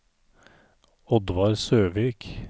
Oddvar Søvik